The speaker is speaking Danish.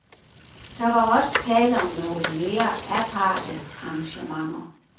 Der var også tale om nogle mere aparte arrangementer.